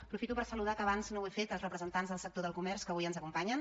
aprofito per saludar que abans no ho he fet els representants del sector del comerç que avui ens acompanyen